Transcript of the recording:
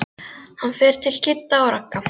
Hann fer til Kidda og Ragga.